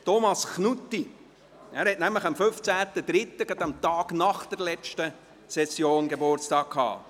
Thomas Knutti hatte am 15. März, also am Tag nach der Session, Geburtstag.